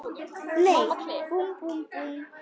Í Mamma klikk!